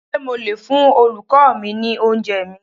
Ṣé mo lè fún Olùkọ́ọ mi ní oúnjẹẹ̀ mi?